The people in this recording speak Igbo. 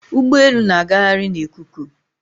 Ụgbọelu na-agagharị na ikuku